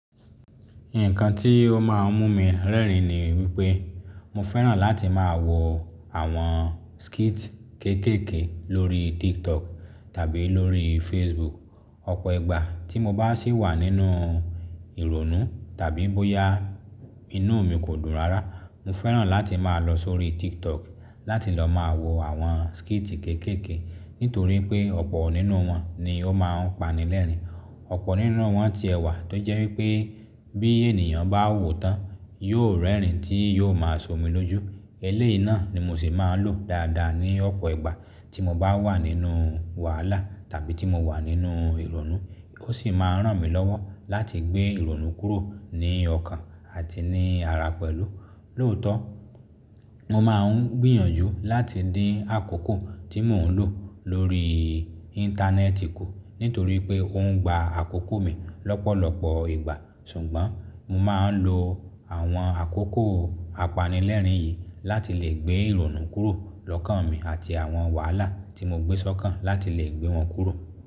Nǹkan tí ó máa ń mú mi rẹ́rìn-ín ni wípé mo fẹ́ràn láti máa wo àwọn skit kéékèèké lórí TikTok tàbí lórí Facebook. Ọ̀pọ̀ ìgbà tí mo bá sì wà nínú ìrònú tàbí bóyá inú mi kò dùn rárá, mo fẹ́ràn láti máa lọ sórí TikTok láti lọ máa wo àwọn skiti kéékèèké nítorí pé ọ̀pọ̀ nínú wọn ni ó máa ń panilẹ́rìn-ín. Ọ̀pọ̀ nínú wọn ti ẹ̀ wà tó jẹ́ wípé bí ènìyàn bá wòó tán, yóò rẹ́rìn-ín tí yóò máa so mi lójú. Eléyìí náà ni mo sì máa ń lò dáadáa ní ọ̀pọ̀ ìgbà tí mo bá wà nínú wàhálà tàbí tí mo wà nínú ìrònú. Ó sì máa ń ràn mí lọ́wọ́ láti gbé ìrònú kúrò ní ọkàn àti ní ara pẹ̀lú. Lóòótọ́ mo máa ń gbìyànjú láti dín àkókò tí mò ń lò lórí Íńtánẹ́ẹ̀tì kù nítorí pé ó ń gba àkókò mi lọ́pọ̀lọpọ̀ ìgbà. Ṣùgbọ́n mo máa ń lo àwọn àkókò apanilẹ́rìn-ín yìí láti lè gbé ìrònú kúrò lọ́kàn mi àti àwọn wàhálà tí mo gbé sọ́kàn láti lè gbé wọn kúrò.